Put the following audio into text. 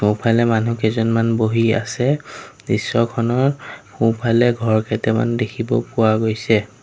সোঁফালে মানুহ কেইজনমান বহি আছে দৃশ্যখনৰ সোঁফালে ঘৰ কেটেমান দেখিব পোৱা গৈছে।